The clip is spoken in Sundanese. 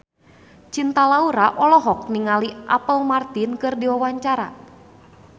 Cinta Laura olohok ningali Apple Martin keur diwawancara